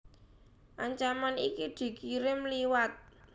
Ancaman iki dikirim liwat